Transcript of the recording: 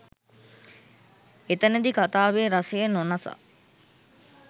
එතෙනදී කතාවේ රසය නොනසා